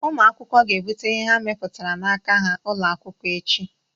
Ụmụ akwụkwọ ga-ebute ihe ha mebputara n'aka ha ụlọ akwụkwọ echi